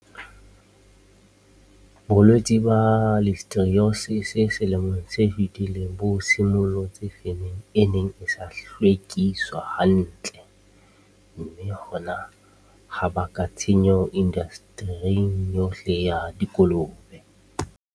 Bolwetse ba listerioses selemong se fetileng bo simollotse femeng e neng e sa hlwekiswa hantle, mme hona ha baka tshenyo indastering yohle ya dikolobe.